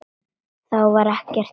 Þá var ekki allt bannað.